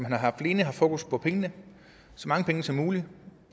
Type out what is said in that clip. har alene haft fokus på pengene så mange penge som muligt